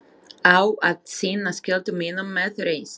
Á að sinna skyldu mínum með reisn.